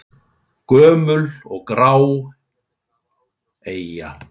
Gömul og grá eyja?